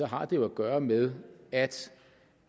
har den jo at gøre med at